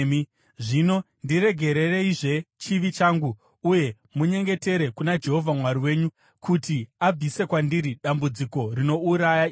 Zvino ndiregerereizve chivi changu uye munyengetere kuna Jehovha Mwari wenyu kuti abvise kwandiri dambudziko rinouraya iri.”